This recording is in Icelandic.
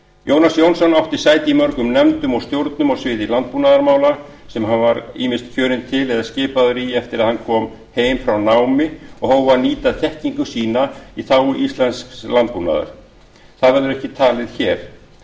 jónas jónsson átti sæti í mörgum nefndum og stjórnum á sviði landbúnaðarmála sem hann var ýmist kjörinn til eða skipaður í eftir að hann kom heim frá námi og hóf að nýta þekkingu sína á þágu íslensks landbúnaðar það verður ekki talið hér